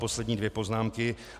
Poslední dvě poznámky.